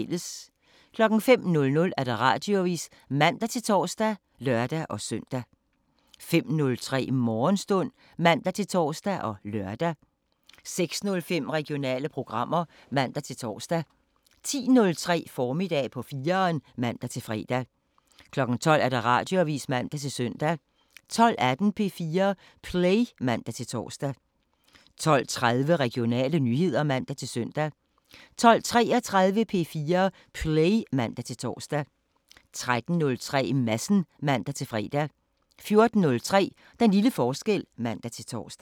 05:00: Radioavisen (man-tor og lør-søn) 05:03: Morgenstund (man-tor og lør) 06:05: Regionale programmer (man-tor) 10:03: Formiddag på 4'eren (man-fre) 12:00: Radioavisen (man-søn) 12:18: P4 Play (man-tor) 12:30: Regionale nyheder (man-søn) 12:33: P4 Play (man-tor) 13:03: Madsen (man-fre) 14:03: Den lille forskel (man-tor)